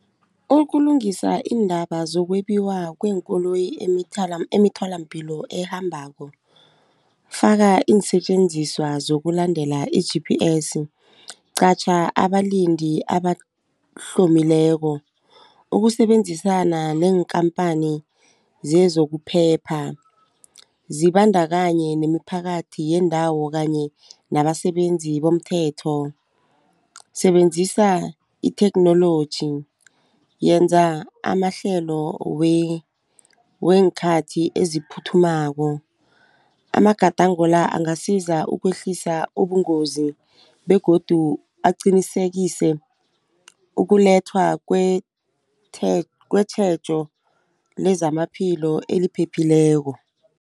Ukulungisa iindaba zokwetjiwa kweenkoloyi emitholampilo ekhambako faka iinsetjenziswa zokulandela i-G_P_S qatjha abalindi abahlomileko ukusebenzisana neenkhamphani zezokuphepha. Zibandakanye nemiphakathi yeendawo kanye nabasebenzi bomthetho. Sebenzisa itheknoloji. Yenza amahlelo weenkhathi eziphuthumako amagadango la angasiza ukwehlisa ubungozi begodu aqinisekise ukulethwa kwetjhejo lezamaphilo eliphephileko.